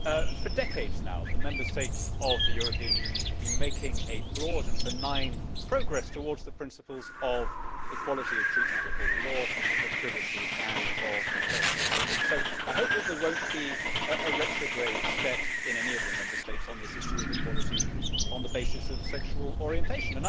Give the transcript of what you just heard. Madam President, for decades now, the Member States of the European Union have been making broad and benign progress towards the principles of equality of treatment before the law, of privacy and of personal freedom, so I hope that there will not be a retrograde step in any of the Member States on this issue of equality on the basis of sexual orientation.